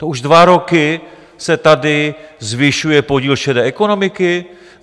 To už dva roky se tady zvyšuje podíl šedé ekonomiky?